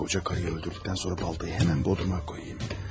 Qoca qadını öldürdükdən sonra baltanı həmin bodruma qoyum.